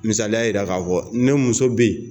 Misaliya yira k'a fɔ ne muso be ye